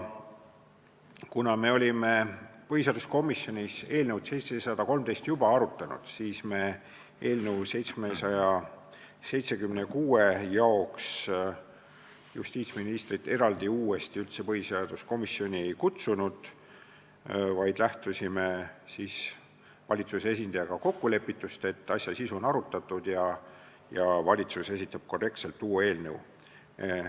Kuna me olime põhiseaduskomisjonis eelnõu 713 juba arutanud, siis me eelnõu 776 jaoks justiitsministrit eraldi uuesti üldse põhiseaduskomisjoni ei kutsunud, vaid lähtusime valitsuse esindajaga kokkulepitust, et asja sisu on arutatud ja valitsus esitab korrektselt uue eelnõu.